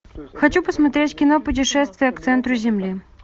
хочу посмотреть кино путешествие к центру земли